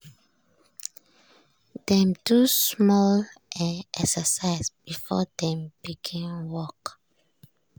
dem do small um exercise before dem begin work.